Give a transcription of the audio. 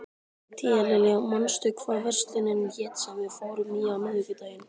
Tíalilja, manstu hvað verslunin hét sem við fórum í á miðvikudaginn?